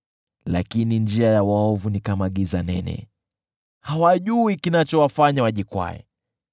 Lakini njia ya waovu ni kama giza nene; hawajui kinachowafanya wajikwae.